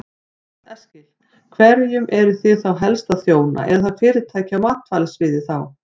Karl Eskil: Hverjum eruð þið þá helst að þjóna, eru það fyrirtæki á matvælasviði þá?